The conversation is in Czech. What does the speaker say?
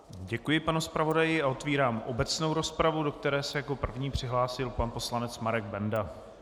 Děkuji, pane zpravodaji, a otevírám obecnou rozpravu, do které se jako první přihlásil pan poslanec Marek Benda.